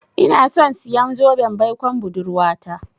Inason siyan zoben baikon budurwata.